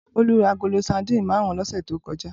Bolu rá àgóló sàdín màrún lòsè tókòjá